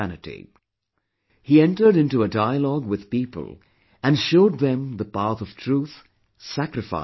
He entered into a dialogue with people and showed them the path of truth, sacrifice & dedication